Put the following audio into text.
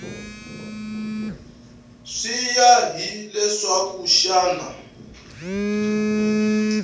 swi ya hi leswaku xana